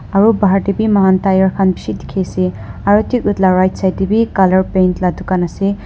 aro bhar tae bi mohan tyre khan bishi dikhiase aro thik edu la right side tae bi colour paint la dukan ase.